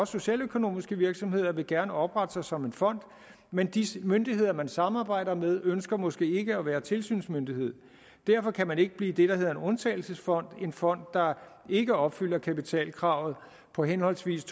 socialøkonomiske virksomheder vil gerne oprette sig som en fond men de myndigheder man samarbejder med ønsker måske ikke at være tilsynsmyndighed derfor kan man ikke blive det der hedder en undtagelsesfond en fond der ikke opfylder kapitalkravet på henholdsvis